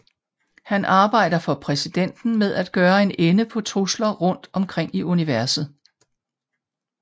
Han arbejder for præsidenten med at gøre en ende på trusler rundt omkring i universet